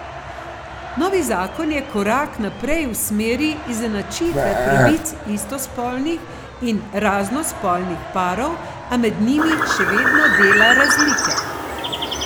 Novi zakon je korak naprej v smeri izenačitve pravic istospolnih in raznospolnih parov, a med njimi še vedno dela razlike.